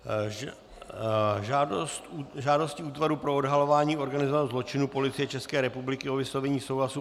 Žádostí Útvaru pro odhalování organizovaného zločinu Policie České republiky o vyslovení souhlasu